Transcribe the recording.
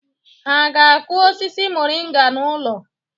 Ha aga-akụ osisi moringa n'ụlọ?